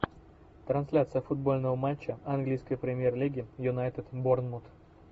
трансляция футбольного матча английской премьер лиги юнайтед борнмут